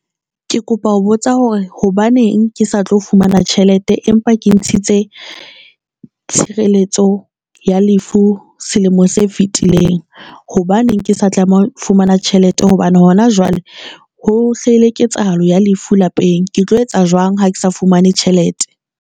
Ke kopa ho botsa hore hobaneng ke sa tlo fumana tjhelete empa ke ntshitse tshireletso ya lefu selemo se fetileng. Hobaneng ke sa tlameha fumana tjhelete hobane hona jwale ho hlahile ketsahalo ya lefu lapeng. Ke tlo etsa jwang ha ke sa fumane tjhelete?